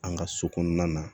An ka so kɔnɔna na